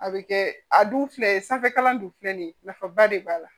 A bɛ kɛ a dun filɛ sanfɛkalan dun filɛ nin ye nafaba de b'a la